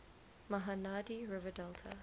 mahanadi river delta